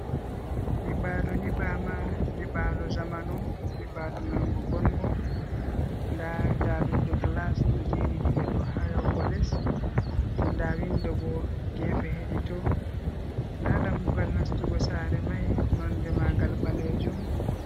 Nyiɓaalo nyibɓaama nyiɓaalo zamanu, nyibaalu man ngo bonngo nda daroɗe gilas ɗo jeeri diga dow haa yaago les din da winndo boo gefe hedi to, nda dammugal nastugo saare mai nonnde maagal ɓaleejum.